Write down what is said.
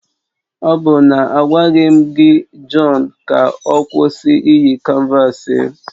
Ọ bụ na agwaghị m gị John ka ọ kwụsị iyi canvasi m?